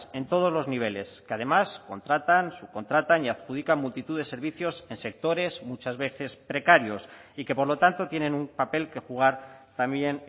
en todos los niveles que además contratan subcontratan y adjudican multitud de servicios en sectores muchas veces precarios y que por lo tanto tienen un papel que jugar también